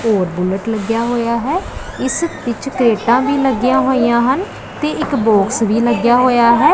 ਹੋਰ ਬੁੱਲਟ ਲੱਗਿਆ ਹੋਇਆ ਹੈ ਇਸ ਵਿੱਚ ਤਰੇਕਾਂ ਵੀ ਲੱਗਿਆਂ ਹੋਈਆਂ ਹਨ ਤੇ ਇੱਕ ਬੌਕਸ ਵੀ ਲੱਗਿਆ ਹੋਇਆ ਹੈ।